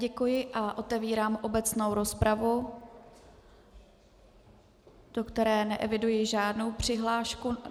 Děkuji a otevírám obecnou rozpravu, do které neeviduji žádnou přihlášku.